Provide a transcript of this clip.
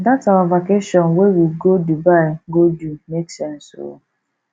dat our vacation wey we go dubai go do make sense o